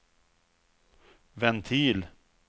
ventil